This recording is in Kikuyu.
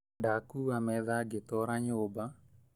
Ndakuua metha ngĩtwara nyũmba